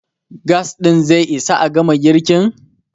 gas ɗin zai Isa a gama girkin?